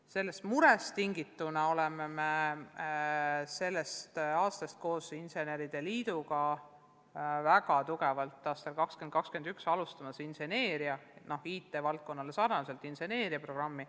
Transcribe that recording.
Sellest murest tingituna alustame koos inseneride liiduga aastal 2021 IT-valdkonnale sarnast inseneeriaprogrammi.